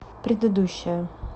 предыдущая